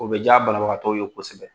O bɛ diya banabagatɔw ye kosɛbɛ